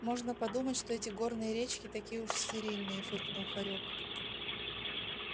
можно подумать что эти горные речки такие уж стерильные фыркнул хорёк